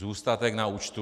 Zůstatek na účtu?